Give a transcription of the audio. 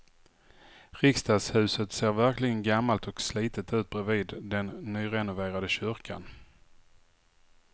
Riksdagshuset ser verkligen gammalt och slitet ut bredvid den nyrenoverade kyrkan.